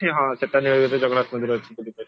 ସେଠି ହଁ ସେଟା ଜାଗାରେ ଜଗନ୍ନାଥ ମନ୍ଦିର ଅଛି ବୁଲିପାରିବ